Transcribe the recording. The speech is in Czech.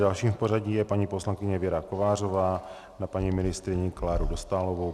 Dalším v pořadí je paní poslankyně Věra Kovářová na paní ministryni Kláru Dostálovou.